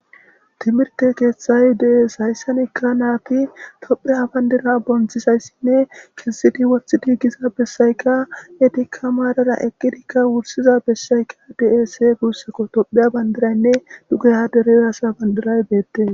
Timirte keeththay de7es hayssanekka naati topheya bandira bonthisayssinne kissidi wohthi diigisa bessayka etikka maadara eqqidikka wursiza bessayka dese guussako topheya bandiraynne dugeha derezasa bandiray beette.